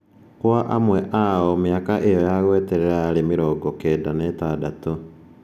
Kwa amwe ao mĩaka ĩyo ya gweterera yarĩ mĩrongo kenda na ĩtandatũ.